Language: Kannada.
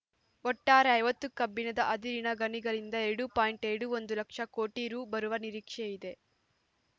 ಒಟ್ಟಾರೆ ಐವತ್ತು ಕಬ್ಬಿಣದ ಅದಿರಿನ ಗಣಿಗಳಿಂದ ಎರಡು ಪಾಯಿಂಟ್ ಎರಡು ಒಂದು ಲಕ್ಷ ಕೋಟಿ ರು ಬರುವ ನಿರೀಕ್ಷೆ ಇದೆ